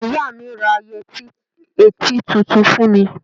Ìyá mi ra yẹti ẹtí tuntun fún mi.